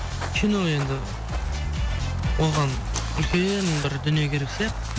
кино енді оған үлкен бір дүние керек сияқты